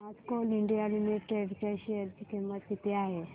आज coal India limited च्या share ची किंमत किती आहे